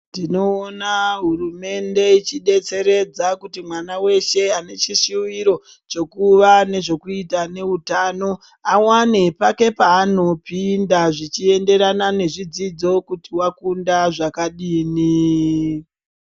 Tinoona hurumende ichidetseredza kuti mwana weshe ane chishuwiro chekuva nezvekuita neutano awane pake paanopinda zvichienderana nezvidzodzo kuti wakunda zvakadini.